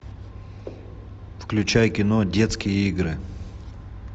включай кино детские игры